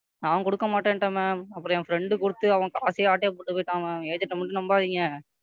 நான் கொடுக்க மாட்டேன்டன் Ma'am அப்புறம் என் Friend கொடுத்து அவன் காசை ஆட்டை போட்டு போய்ட்டாங்க Ma'am agent ஐ மட்டும் நம்பாதீங்க.